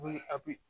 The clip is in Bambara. Be a bi